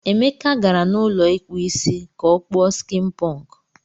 Emeka gara n'ụlọ ikpu Ịsị ka o kpuo skin punk.